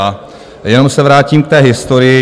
A jenom se vrátím k té historii.